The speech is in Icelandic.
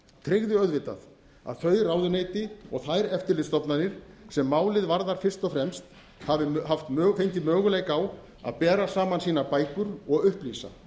tryggði auðvitað að þau ráðuneyti og þær eftirlitsstofnanir sem málið varðar fyrst og fremst hafi fengið möguleika á að bera sama sínar bækur og upplýsa